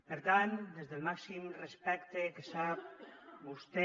per tant des del màxim respecte que sap vostè